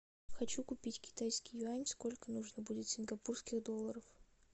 хочу купить китайский юань сколько нужно будет сингапурских долларов